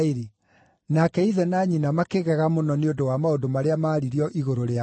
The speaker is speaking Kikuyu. Nake ithe na nyina makĩgega mũno nĩ ũndũ wa maũndũ marĩa maaririo igũrũ rĩako.